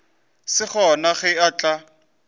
se gona ge a tla